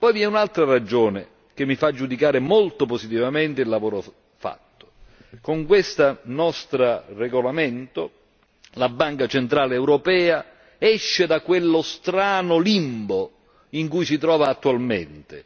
Poi vi è un'altra ragione che mi fa giudicare molto positivamente il lavoro svolto con questo nostro regolamento la Banca centrale europea esce da quello strano limbo in cui si trova attualmente.